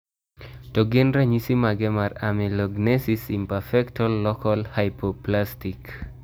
To gin ranyisi mage mar Amelogenesis imperfecta local hypoplastic?